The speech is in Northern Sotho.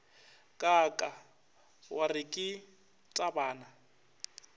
kaaka wa re ke tabana